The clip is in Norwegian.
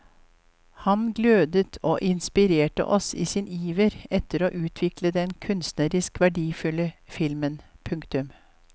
Han glødet og inspirerte oss i sin iver etter å utvikle den kunstnerisk verdifulle filmen. punktum